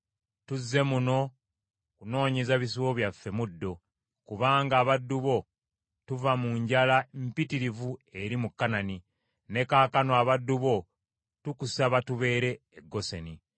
Tuzze muno kunoonyeza bisibo byaffe muddo, kubanga abaddu bo tuva mu njala mpitirivu eri mu Kanani; ne kaakano abaddu bo tukusaba tubeere e Goseni.”